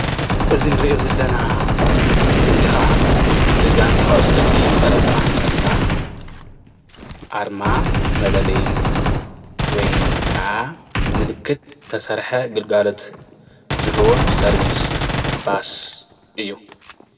እዚ እንሪኦ ዘለና ስእሊ ከዓ በጋንታ እግሪ ኩዕሶ መቐለ ሰብዓ እንድርታ ኣርማ መለለይ ወይ ከዓ ምልክት ዝሰተሰርሐ ግልጋሎት ዝህቡን ሰርቪስ ባስ እዩ፡፡